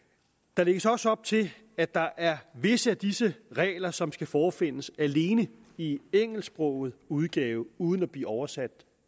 der lægges også op til at der er visse af disse regler som skal forefindes alene i engelsksproget udgave uden at blive oversat